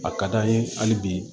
A ka d'an ye hali bi